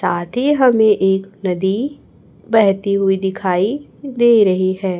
आदी हमें एक नदी बेहती हुई दिखाई दे रही हैं।